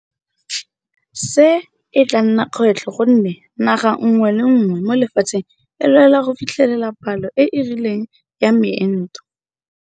Se e tla nna kgwetlho gonne naga nngwe le nngwe mo lefatsheng e lwela go fitlhelela palo e e rileng ya meento.